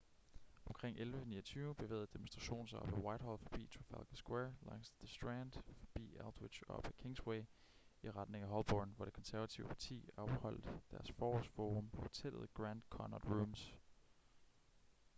omkring 11:29 bevægede demonstrationen sig op ad whitehall forbi trafalgar square langs the strand forbi aldwych og op ad kingsway i retning af holborn hvor det konservative parti afholdt deres forårs-forum på hotellet grand connaught rooms